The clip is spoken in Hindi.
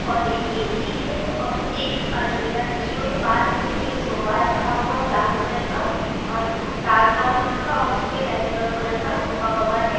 और एक ए_सी है और एक अलमीरा रखी हुई है पास में ही एक सोफा रखा हुआ है ब्राउन कलर का और डार्क ब्राउन कलर का और उसपे लाइट ब्राउन कलर का सोफा कवर है।